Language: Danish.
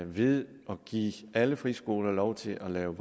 vi ved at give alle friskoler lov til at lave